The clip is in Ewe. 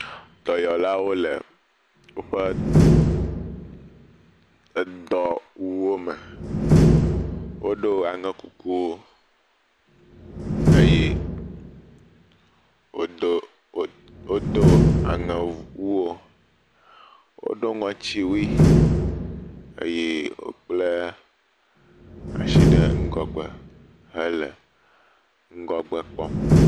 Dɔyɔlawo le woƒe edɔwuwo me, woɖo aŋekukuwo eye wodo wodo aŋewuwo, woɖo ŋɔtuwui eye wokple asi ŋgɔgbe hele ŋgɔgbe kpɔm.